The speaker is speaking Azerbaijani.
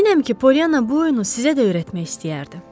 Əminəm ki, Polyana bu oyunu sizə də öyrətmək istəyərdi.